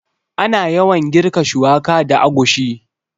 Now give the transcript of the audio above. Ana yawan girka shuwaka da agushi